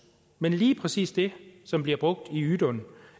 men lige præcis det som bliver brugt i ydun